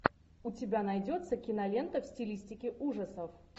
у тебя найдется кинолента в стилистике ужасов